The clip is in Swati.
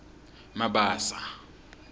mabasa